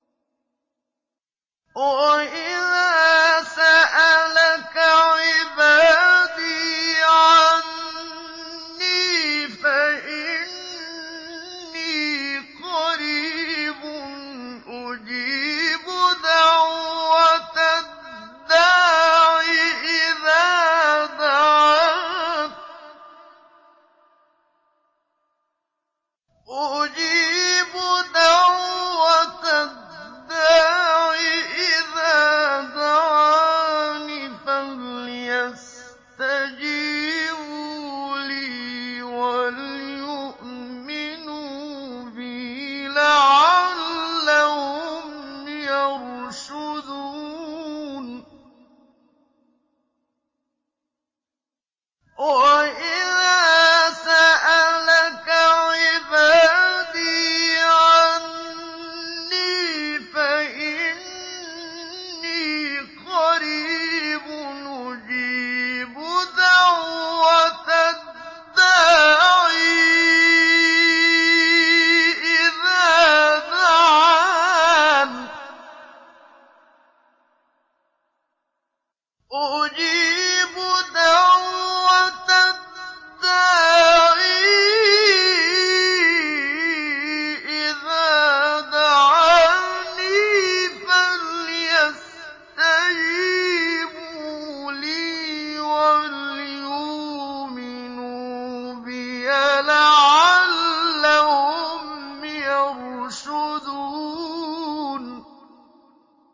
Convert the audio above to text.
وَإِذَا سَأَلَكَ عِبَادِي عَنِّي فَإِنِّي قَرِيبٌ ۖ أُجِيبُ دَعْوَةَ الدَّاعِ إِذَا دَعَانِ ۖ فَلْيَسْتَجِيبُوا لِي وَلْيُؤْمِنُوا بِي لَعَلَّهُمْ يَرْشُدُونَ